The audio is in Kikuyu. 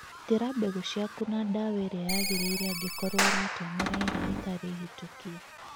Gitĩra mbegũ ciaku na dawa ĩrĩa yagĩrĩire angĩkorwo ũratũmĩra ĩrĩa ĩtarĩhĩtũkie.